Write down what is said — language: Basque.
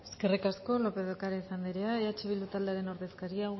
eskerrik asko lópez de ocariz andrea eh bildu taldearen ordezkaria